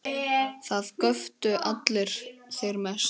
Það göptu allir, þeir mest.